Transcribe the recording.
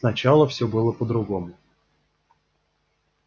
сначала всё было по-другому